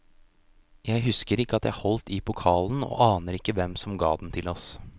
Jeg husker ikke at jeg holdt i pokalen og aner ikke hvem som ga den til oss.